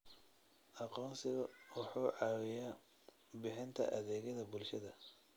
Aqoonsigu waxa uu caawiyaa bixinta adeegyada bulshada.